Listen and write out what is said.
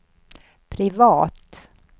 privat